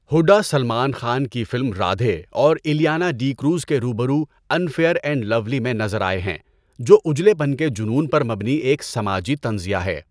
ہڈا سلمان خان کی فلم رادھے اور الیانا ڈی کروز کے روبرو انفیئر اینڈ لولی میں نظر آئے ہیں، جو اجلے پن کے جنون پر مبنی ایک سماجی طنزیہ ہے۔